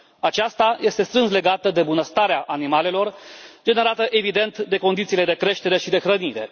Aceasta este strâns legată de bunăstarea animalelor generată evident de condițiile de creștere și de hrănire.